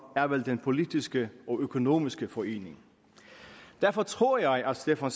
er vel den politiske og økonomiske forening derfor tror jeg at stefan